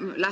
kommunikatsiooni.